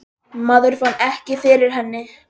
Maður fann ekki fyrir henni.